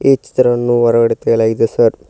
ಇಷ್ಟು ಚಿತ್ರವನ್ನು ಹೊರಗಡೆ ತೆಗೆಯಲಾಗಿದೆ ಸರ್ .